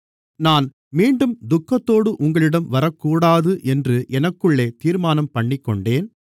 நான் மீண்டும் துக்கத்தோடு உங்களிடம் வரக்கூடாது என்று எனக்குள்ளே தீர்மானம்பண்ணிக்கொண்டேன்